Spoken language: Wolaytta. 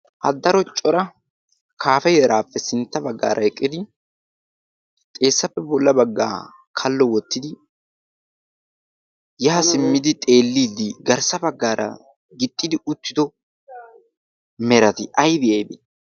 haddaro cora kaafe yeraappe sintta baggaara eqqidi xeessappe bolla baggaa kallo wottidi yaa simmidi xeelliiddi garssa baggaara gixxidi uttido merati aybi aybii?